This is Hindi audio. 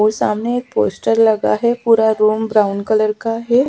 पोस्टर लगा है पूरा रूम ब्राउन कलर का है।